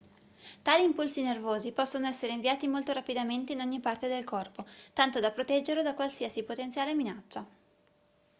tali impulsi nervosi possono essere inviati molto rapidamente in ogni parte del corpo tanto da proteggerlo da qualsiasi potenziale minaccia